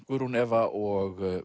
Guðrún Eva og